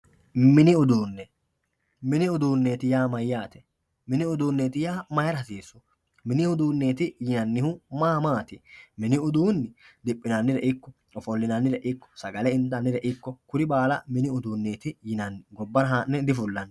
mini uduunne mini uduunneeti yaa mayyate mini uduunne yaa mayira hasiissu? mini uduunneeti yinannihu maa maati? mini uduunni diphinannire ikko sagala intannire ikko kuru baala mini uduunneeti yinanni gobbara haa'ne difullaanni.